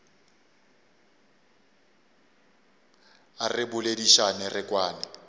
a re boledišane re kwane